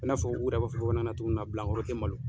I n'a fɔ u yɛrɛ b'a fɔ bamanankan na cogoya min na bila kɔrɔ te malo.